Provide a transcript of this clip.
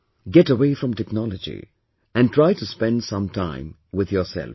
Get away from technology, and try to spend some time with yourself